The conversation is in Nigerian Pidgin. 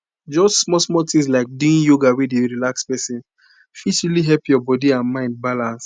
just smallsmall things like doing yoga wey dey relax person fit really help your body and mind balance